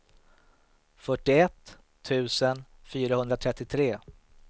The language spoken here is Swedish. fyrtioett tusen fyrahundratrettiotre